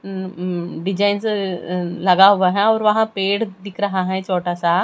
Design लगा हुआ हैं और वहां पेड़ दिख रहा हैं छोटा सा।